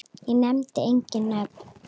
Ég nefni engin nöfn.